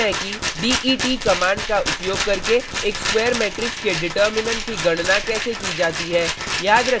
अब सीखते हैं कि det कमांड का उपयोग करके एक स्क्वायर मेट्रिक्स के डिटर्मिनेन्ट determinant की गणना कैसे की जाती है